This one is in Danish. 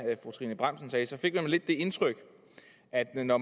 fru trine bramsen sagde fik man lidt det indtryk at når